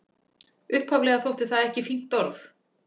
Upphaflega þótti það ekki fínt orð.